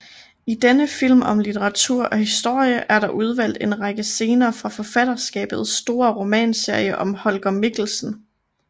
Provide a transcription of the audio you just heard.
I denne film om litteratur og historie er der udvalgt en række scener fra forfatterskabets store romanserie om Holger Mikkelsen